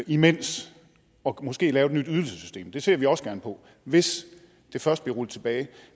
imens og måske lave et nyt ydelsessystem det ser vi også gerne på hvis det først bliver rullet tilbage